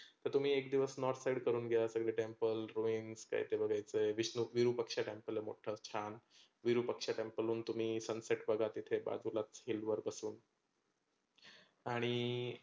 तर तुम्ही एक दिवस north side करूण घ्या सगळे temple, ruiems काय काय बघायचं विष्णु विरूपक्ष temple आहे मोठ छान. विरुपक्ष temple हून तुम्ही sunset बघा तिथे वाजुलाच hill वर बसून. आणि